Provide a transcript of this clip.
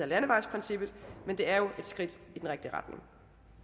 landevejsprincippet men det er et skridt i den rigtige retning